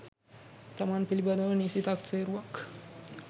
තමන් පිළිබඳව නිසි තක්සේරුවක්